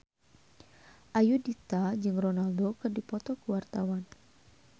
Ayudhita jeung Ronaldo keur dipoto ku wartawan